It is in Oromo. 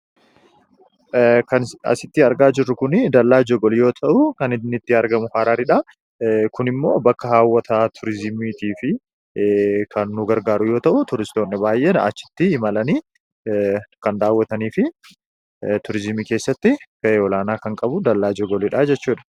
Kan asitti argaa jirru kun dallaa Jogol yoo ta'u kan inni argamu Hararidha. Kunimmoo bakka hawwata turizimiitii fi kan nu gargaaru yoo ta'u, turistoonni baay'een achitti imalanii kan daawwatanii fi turizimii keessatti gahee olaanaa kan qabu dallaa jogolidha jechuudha.